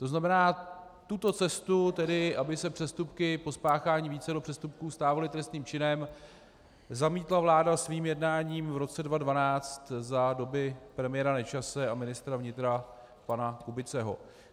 To znamená, tuto cestu, tedy aby se přestupky po spáchání vícero přestupků stávaly trestným činem, zamítla vláda svým jednáním v roce 2012 za doby premiéra Nečase a ministra vnitra pana Kubiceho.